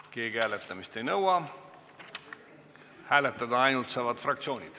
Kas keegi hääletamist ei nõua?